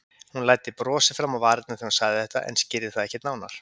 Hún læddi brosi fram á varirnar þegar hún sagði þetta en skýrði það ekkert nánar.